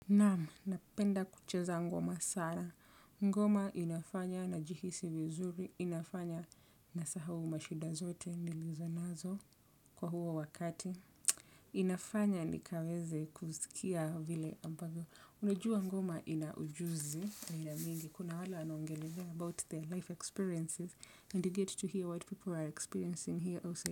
Naamu, napenda kucheza ngoma sana. Ngoma inafanya najihisi vizuri, inafanya na sahau mashida zote nilizo nazo kwa huo wakati. Inafanya ni kaweze kuzikia vile ambavio. Unajua ngoma ina ujuzi wa aina mingi. Kuna wala wanongelea 'about their life experiences, and you get to hear what people are experiencing here also'.